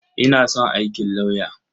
Ina son aikin lauyer.